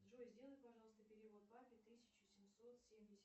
джой сделай пожалуйста перевод папе тысяча семьсот семьдесят